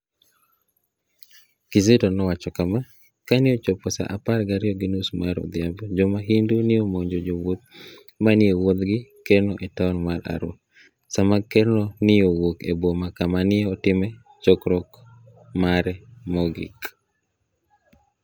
Kizito nowacho kama, "Kani e ochopo sa apar gariyo gi nius mar odhiambo, jo mahunidu ni e omonijo jowuoth ma ni e wuotho gi kerno e taoni mar Arua, sama kerno ni e wuok e Boma kama ni e otimoe chokruok mare mogik.